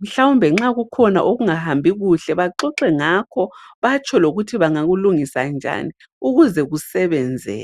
Mhlawumbe nxa kukhona okungahambikuhle ,baxoxe ngakho batsho lokuthi bangakulungisa njani ukuze kusebenze.